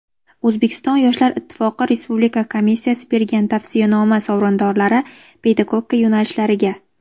O‘zbekiston yoshlar ittifoqi respublika komissiyasi bergan tavsiyanoma sovrindorlari (pedagogika yo‘nalishlariga);.